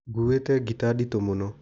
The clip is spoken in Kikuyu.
Ngũwĩte gita nditũ mũno.